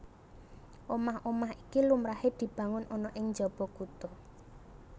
Omah omah iki lumrahé dibangun ana ing njaba kutha